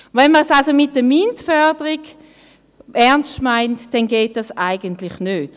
Wenn man es also mit der MINT-Förderung ernst meint, dann geht dies eigentlich nicht.